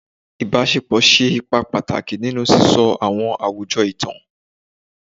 Ibasepo ṣe ipa pataki ninu sisọ awọn awujọ itan